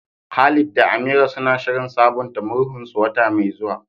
Khalid da Amira suna shirin sabunta murhunsu wata mai zuwa.